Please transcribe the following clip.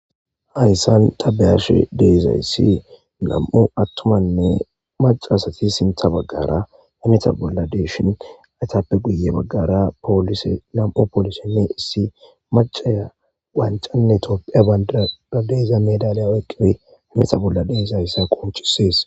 hayssan tabeyashe deezaysssi nam'u attumanne macasati sintha baggara imeta bolla deeshin aytappe guye baggara poolise lam7u poolisi mi issi macaya wancanne toopphe a deeza medaleya weqqife meta bolla dees hayssa qoncisees